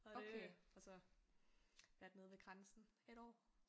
Og det og så været nede ved grænsen et år